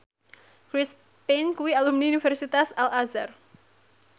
Chris Pane kuwi alumni Universitas Al Azhar